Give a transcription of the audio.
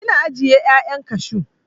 Ina ajiye 'ya'yan kashu.